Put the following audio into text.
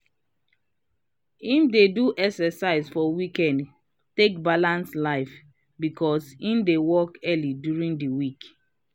him dey do exercise for weekend take balance life becos him dey work early during d week.